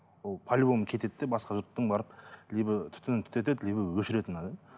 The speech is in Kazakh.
ол полюбому кетеді де басқа жұрттың барып либо түтінін түтетеді либо өшіреді